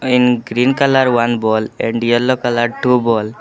In green colour one ball and yellow colour two ball.